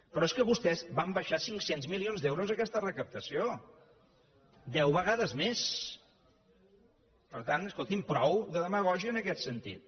però és que vostès van abaixar cinc cents milions d’euros aquesta recaptació deu vegades més per tant escoltin prou demagògia en aquest sentit